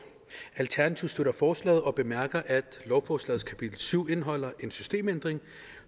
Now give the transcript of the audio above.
alternativet støtter forslaget og bemærker at lovforslagets kapitel syv indeholder en systemændring